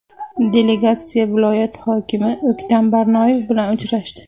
Delegatsiya viloyat hokimi O‘ktam Barnoyev bilan uchrashdi.